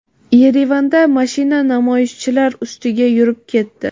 Yerevanda mashina namoyishchilar ustiga yurib ketdi.